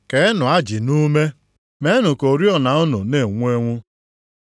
“Keenụ ajị nʼume, meenụ ka oriọna unu na-enwu enwu.